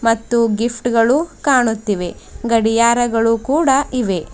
ಮತ್ತು ಗಿಫ್ಟ್ ಗಳು ಕಾಣುತ್ತಿವೆ ಗಡಿಯಾರಗಳು ಕೂಡ ಇವೆ.